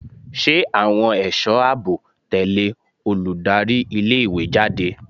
Ṣé àwọn ẹ̀sọ́ àbò tẹ̀lẹ́ olùdarí ilé ìwé jáde?